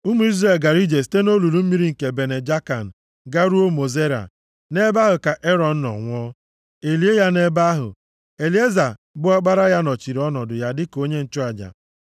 (Ụmụ Izrel gara ije site nʼolulu mmiri nke Bene Jaakan garuo Mosera, nʼebe ahụ ka Erọn nọ nwụọ, e lie ya nʼebe ahụ. Elieza, bụ ọkpara ya nọchiri ọnọdụ ya dịka onye nchụaja.